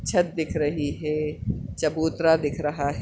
छत दिख रही है चबूतरा दिख रहा है।